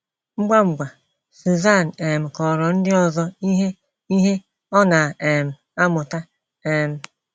Ngwa ngwa, Suzanne um kọrọ ndị ọzọ ihe ihe ọ na um - amụta. um